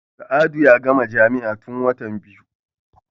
Sa'adu ya gama jami'a tun watan biyu.